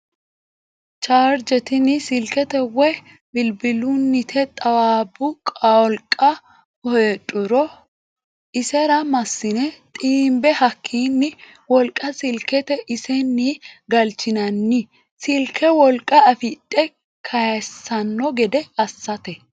Charge tini silkete woyi bilbilunite xaawabu qolqa heedhuro. isera masine xiinbe hakkini wolqa silkete iseni galchinanni silke wolqa afidhe kaysano gede assate.